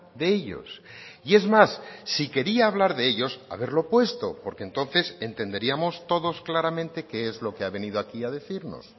de ellos y es más si quería hablar de ellos haberlo puesto porque entonces entenderíamos todos claramente qué es lo que ha venido aquí a decirnos